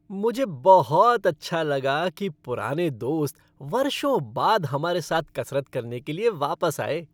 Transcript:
मुझे बहुत अच्छा लगा कि पुराने दोस्त वर्षों बाद हमारे साथ कसरत करने के लिए वापस आए।